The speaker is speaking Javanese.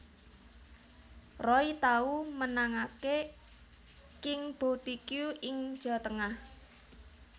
Roy tau menangaké King Boutique ing Jawa Tengah